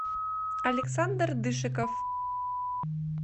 александр дышиков